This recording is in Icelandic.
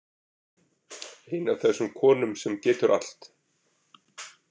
Ein af þessum konum sem getur allt.